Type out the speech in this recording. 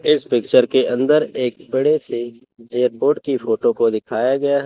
इस पिक्चर के अंदर एक बड़े से एयरपोर्ट की फोटो को दिखाया गया है।